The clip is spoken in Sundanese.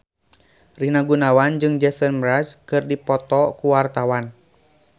Rina Gunawan jeung Jason Mraz keur dipoto ku wartawan